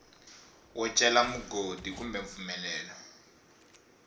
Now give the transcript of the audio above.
wo cela mugodi kumbe mpfumelelo